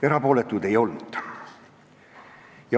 Erapooletuid ei olnud.